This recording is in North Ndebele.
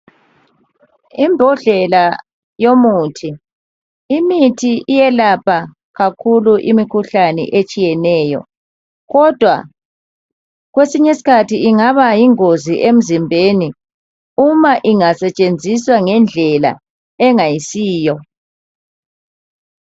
Ibhodlela yomuthi. Imithi iyelapha kakhulu imkhuhlane etshiyeneyo. Kodwa kwesinye isikhathi ingaba yingozi emzimbeni uma ingasetshenziswa ngedlela engayisiyo.